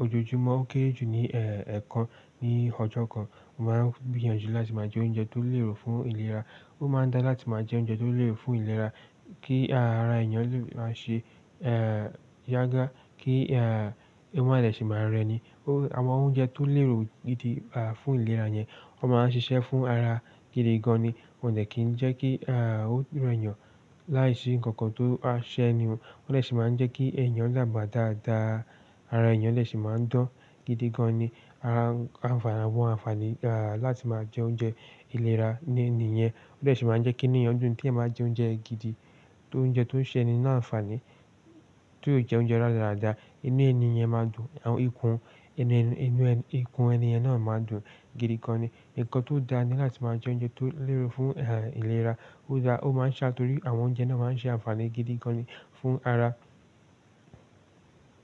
ojoojúmọ́, ó kéré jù ní ẹ̀ẹ̀kan ní ọjọ́ kan. Mo máa ń gbìyànjú láti máa jẹ oúnjẹ tó lérò fún ìlera. Ó máa ń dá láti máa jẹ oúnjẹ tó lérò fún ìlera kí ara èèyàn lè máa ṣe, eh, yágà, kí ẹwà rẹ̀ lè ṣe máa rẹ ní. Awọn oúnjẹ tó lérò gidi, à, fún ìlera yẹn, ó máa ń ṣiṣẹ́ fún ara gidi gan ni. Ó lè kí ń jẹ́ kí, à, ó rẹ́ èèyàn láìsí nǹkan tó á ṣẹ́ni. Ó dè ṣi máa ń jẹ́ kí èèyàn dágbá dáadáa. Ara èèyàn lè ṣe máa ń dán gidi gan ni. Awọn ànfàní láti máa jẹ oúnjẹ ìlera ní niyẹn, ó dè ṣe máa ń jẹ́ kí inú èèyàn dùn. Bí èeeyan báa jẹ oúnjẹ gidi, tó ń jẹ tó ń ṣẹ́ni ni ànfàní, tó jẹ oúnjẹ radarada, inú èniyẹn máa dùn. Àwọn ikùn inú, inú, ikùn ẹni ẹ̀ ní náà máa dùn gidi gan ni. Ǹkan tó dá ni láti máa jẹ oúnjẹ tó lérò fún ìlera. Ó dá, ó máa ń ṣa torí àwọn oúnjẹ náà máa ń ṣe ànfàní gidi gan ni fún ara.